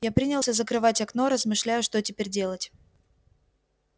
я принялся закрывать окно размышляя что теперь делать